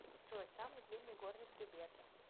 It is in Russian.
джой самый длинный горный хребет